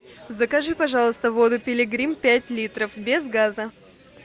закажи пожалуйста воду пилигрим пять литров без газа